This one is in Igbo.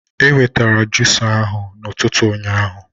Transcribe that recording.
E wetara jusa ahụ na ụtụtụ ụnyaahụ